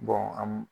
an m